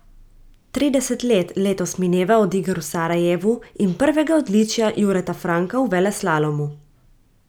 Trideset let letos mineva od iger v Sarajevu in prvega odličja Jureta Franka v veleslalomu.